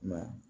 Ma